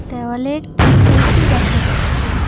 দেওয়ালে একটি এ_সি দেখা যাচ্ছে।